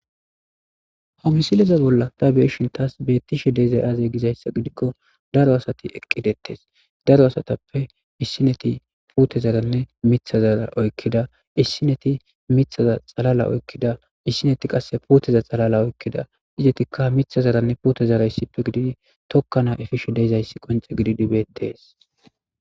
Hamisileza bolla daabiyeshin taas beettishe deeza aze gizayssa gidikko daro asati eqqidettes daro asatappe issineti pute zaranne mitha zara oykkida issineti mithaza xalala oykkida issineti qasse puteza xalala oykkida izetikka mitha zaranne pute zara yssippe gididi tokkana efisho deeizayssi qonce gididibeettees.